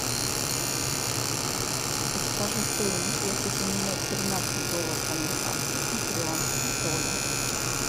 подскажи стоимость если поменять тринадцать долларов американских на перуанские соли